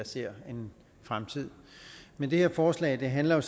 ser en fremtid men det her forslag handler